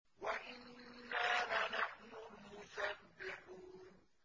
وَإِنَّا لَنَحْنُ الْمُسَبِّحُونَ